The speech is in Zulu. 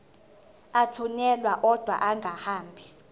athunyelwa odwa angahambi